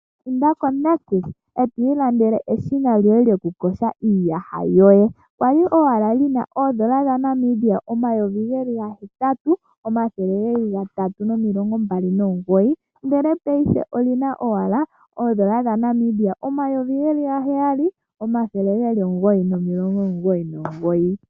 Inda ko Nictus etwiilandele eshina lyoye lyoku kosha iiyaha yoye. Kwali owala lina oodola dhaNmibia omayovi geli ga hetatu omathele geli gatatu nomilongo mbali nomugoyi, ndele paife olina owala oodola dha Namibia omayovi geli ga heyali omathele geli omugoyi nomilongo omugoyi nomugoyi.